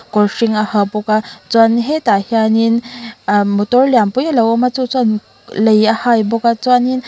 kawr hring a ha bawk a chuan hetah hianin motor lian pui alo awm a chu chuan lei a hai bawk a chuanin--